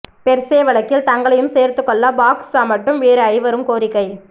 per se வழக்கில் தங்களையும் சேர்த்துக்கொள்ள பாக் சமட்டும் வேறு ஐவரும் கோரிக்கை